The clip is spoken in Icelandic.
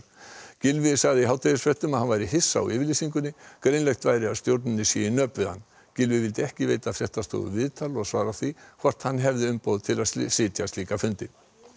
Gylfi sagði í hádegisfréttum að hann væri hissa á yfirlýsingunni greinilegt væri að stjórninni sé í nöp við hann Gylfi vildi ekki veita fréttastofu viðtal og svara því hvort hann hefði umboð til að sitja slíka fundi